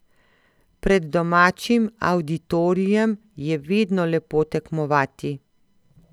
Pred domačim avditorijem je vedno lepo tekmovati.